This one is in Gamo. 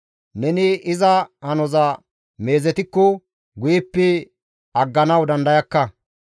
Neni iza hanoza meezetikko, guyeppe agganawu dandayakka.